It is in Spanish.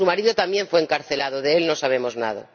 Su marido también fue encarcelado de él no sabemos nada.